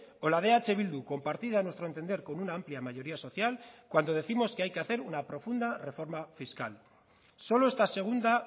o la de eh bildu compartida a nuestro entender con una amplia mayoría social cuando décimos que hay que hacer una profunda reforma fiscal solo esta segunda